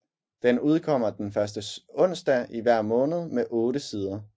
Den udkommer den første onsdag i hver måned med otte sider